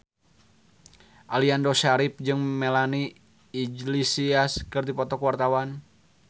Aliando Syarif jeung Melanie Iglesias keur dipoto ku wartawan